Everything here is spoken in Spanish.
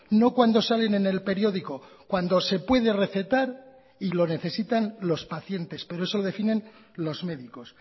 no cuando salen en el periódico cuando se puede recetar y lo necesitan los pacientes pero eso lo definen los médicos